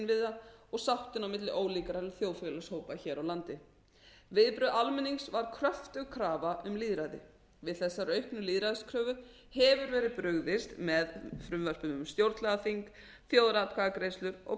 samfélagsinnviðina og sáttina á milli ólíkra þjóðfélagshópa hér á landi viðbrögð almennings voru kröftug krafa um lýðræði við þessari auknu lýðræðiskröfu hefur verið brugðist með frumvörpum um stjórnlagaþing þjóðaratkvæðagreiðslur og